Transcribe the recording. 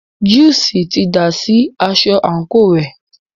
Júùsí ti dà sí aṣọ àńkò rẹ̀.